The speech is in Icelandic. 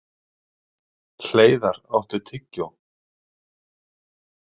Hleiðar, áttu tyggjó?